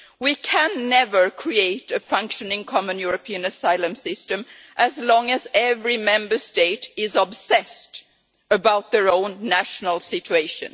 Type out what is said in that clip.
We can never create a functioning Common European Asylum System as long as every Member State is obsessed with their own national situation.